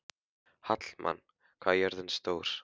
Hallmann, hvað er jörðin stór?